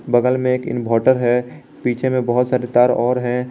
बगल मे एक इनवर्टर है पीछे मे बहोत सारे तार और है।